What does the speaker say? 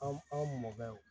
An an mɔkɛw